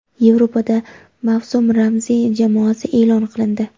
Yevropada mavsum ramziy jamoasi e’lon qilindi.